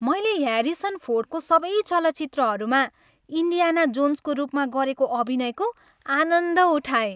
मैले ह्यारिसन फोर्डको सबै चलचित्रहरूमा इन्डियाना जोन्सको रूपमा गरेको अभिनयको आनन्द उठाएँ।